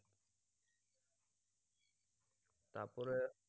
তারপরে